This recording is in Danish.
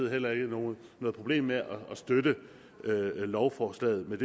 heller ikke noget problem med at støtte lovforslaget men